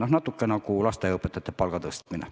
See on natuke nagu lasteaiaõpetajate palga tõstmine.